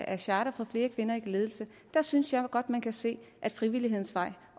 af charter for flere kvinder i ledelse synes jeg godt man kan se at frivillighedens vej